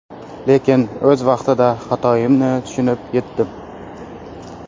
Lekin o‘z vaqtida xatoimni tushunib yetdim.